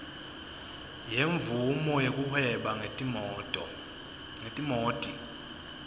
yemvumo yekuhweba ngetimoti